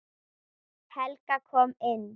Helga kom inn.